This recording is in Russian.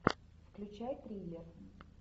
включай триллер